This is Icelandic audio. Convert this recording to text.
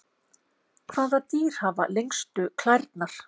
hvaða dýr hafa lengstu klærnar